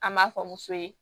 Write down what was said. An m'a fɔ muso ye